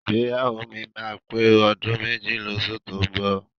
Ìgbéyàwó mi máa pé ọdún méjì lóṣù tó ń bọ̀.